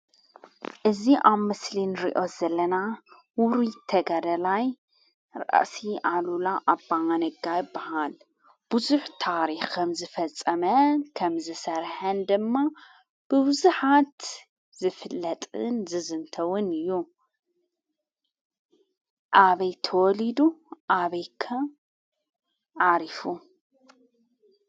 እዙ ኣብ ምስሊ እንርዮ ዘለና ውሩ ተጋደላይ ራእእሲ ኣሉላ ኣቦዓነጋይ በሃል ብዙኅ ታሪኸም ዝፈጸመ ከም ዝሠርሐን ድማ ብውዙኃት ዝፍለጥን ዝዘንተውን እዩ ።ኣበይ ተወሊዱ ኣበይከ ኣሪፉ?